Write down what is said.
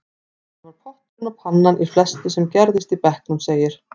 Hann var potturinn og pannan í flestu sem gerðist í bekknum, segir